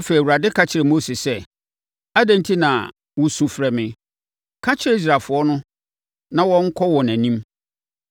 Afei, Awurade ka kyerɛɛ Mose sɛ, “Adɛn enti na wosu frɛ me? Ka kyerɛ Israelfoɔ no na wɔnkɔ wɔn anim.